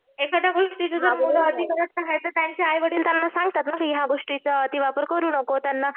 एखाद्या गोष्टीच जर त्यांचे आईवडील त्यांना सांगतात की या गोष्टीचा अतिवापर करू नको त्यांना